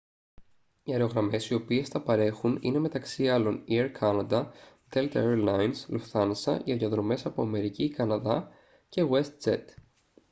οι αερογραμμές οι οποίες τα παρέχουν είναι μεταξύ άλλων οι air canada delta air lines lufthansa για διαδρομές από αμερική ή καναδά και westjet